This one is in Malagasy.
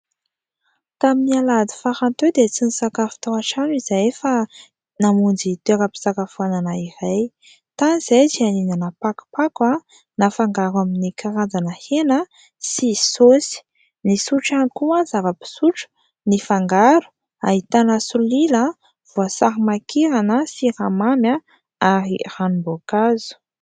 Tamin'ny Alahady farany teo dia tsy nisakafo tao antrano izahay fa namonjy toeram-pisakafoana iray, tany izahay dia nihinana pakopako nafangaro amin'ny karazana hena sy saosy; nisotro ihany koa zavam-pisotro nifangaro, ahitana solila, voasary makirana, siramamy ary ranomboankazo.